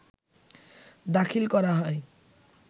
দাখিল করা হয়